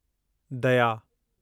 दया